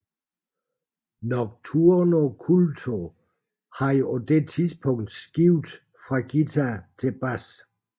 Nocturno Culto havde på dette tidspunkt skiftet fra guitar til bas